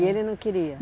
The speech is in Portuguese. E ele não queria?